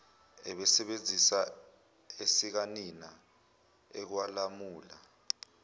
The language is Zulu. ebesebenzisa esikanina okwalamula